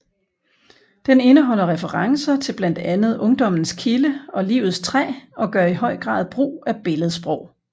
Den indeholder referencer til blandt andet Ungdommens kilde og Livets træ og gør i høj grad brug af billedsprog